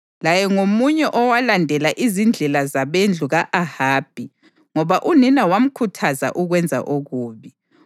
Laye ngomunye owalandela izindlela zabendlu ka-Ahabi, ngoba unina wamkhuthaza ukwenza okubi.